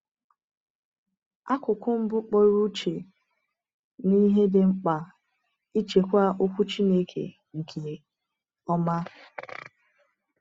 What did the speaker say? Akụkụ mbụ kpọrọ uche n’ihe dị mkpa ịchịkwa Okwu Chineke nke ọma.